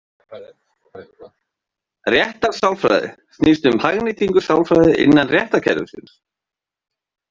Réttarsálfræði snýst um hagnýtingu sálfræði innan réttarkerfisins.